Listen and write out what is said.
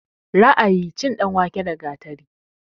Ra'ayi, cin danwake da gatari